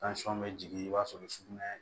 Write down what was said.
bɛ jigin i b'a sɔrɔ sugunɛ